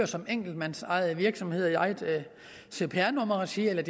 som enkeltmandsejede virksomheder i eget cpr nummerregi eller